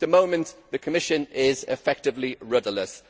At the moment the Commission is effectively rudderless.